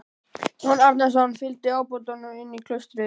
Jón Arason fygldi ábótanum inn í klaustrið.